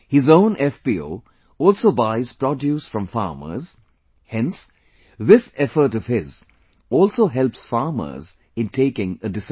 His own FPO also buys produce from farmers, hence, this effort of his also helps farmers in taking a decision